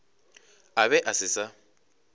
a be a se sa